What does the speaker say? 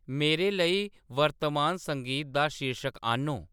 मेरे लेई वर्तमान संगीत दा शीर्शक आह्‌‌‌न्नो